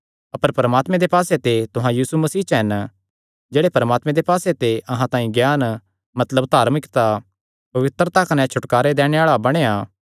अपर परमात्मे दे पास्से ते तुहां यीशु मसीह च हन जेह्ड़े परमात्मे दे पास्से ते अहां तांई ज्ञान मतलब धार्मिकता पवित्रता कने छुटकारा दैणे आल़ा बणेया